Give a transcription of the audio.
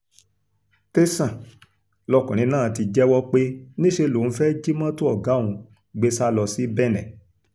tẹsán lọkùnrin náà ti jẹ́wọ́ pé níṣẹ́ lòun fẹ́ẹ́ jí mọ́tò ọ̀gá òun gbé sá lọ sí benin